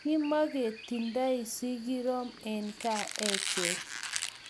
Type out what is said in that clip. Kimaketindoi sikirokm en kaa echek